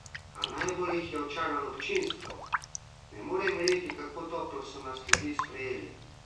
A najbolj jih je očaralo občinstvo: "Ne morem verjeti, kako toplo so nas ljudje sprejeli.